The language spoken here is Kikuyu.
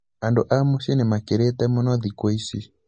andũ a mũcĩĩ nĩmakĩrĩte mũno thĩkũ ici